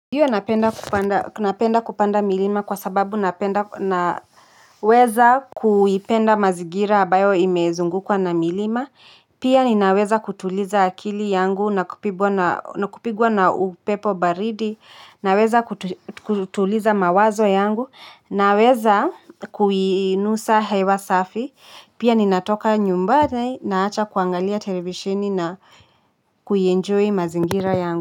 Ndiyo napenda kupanda milima kwa sababu naweza kuipenda mazingira ambayo imezungukwa na milima, pia ninaweza kutuliza akili yangu na kupigwa na na kupigwa na upepo baridi, naweza kutuliza mawazo yangu, naweza kuinusa hewa safi, pia ninatoka nyumbani naacha kuangalia televisheni na kuienjoy mazingira yangu.